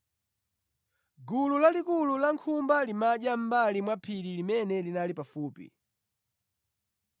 Gulu lalikulu la nkhumba limadya mʼmbali mwa phiri limene linali pafupi.